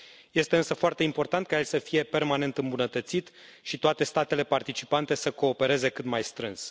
Este însă foarte important ca el să fie permanent îmbunătățit și toate statele participante să coopereze cât mai strâns.